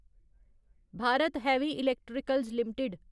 Bharat heavy electricals limited